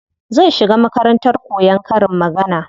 Zan shiga makarantar koyan karin magana.